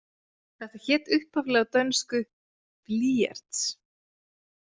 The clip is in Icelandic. Þetta hét upphaflega á dönsku blyerts.